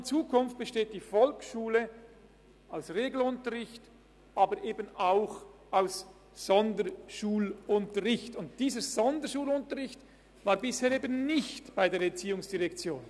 In Zukunft besteht die Volksschule aus Regelunterricht, aber eben auch aus Sonderschulunterricht, und dieser Sonderschulunterricht war bisher eben nicht bei der ERZ.